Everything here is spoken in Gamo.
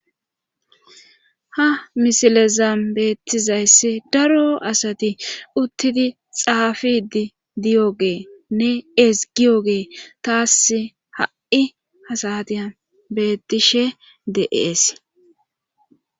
ha misilezan beettizayss daro asati uttidi xaafidi diyogeenne esgiyogey tas ha7i hasatiyn bettishe de7es